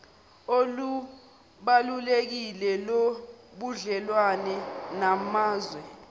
olubalulekile lobudlelwane namazwe